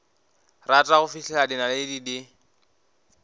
rata go fihlela dinaledi di